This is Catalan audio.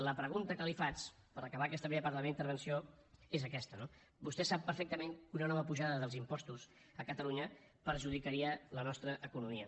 la pregunta que li faig per acabar aquesta primera part de la meva intervenció és aquesta no vostè sap perfectament que una nova pujada dels impostos a catalunya perjudicaria la nostra economia